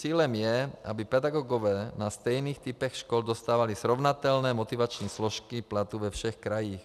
Cílem je, aby pedagogové na stejných typech škol dostávali srovnatelné motivační složky platu ve všech krajích.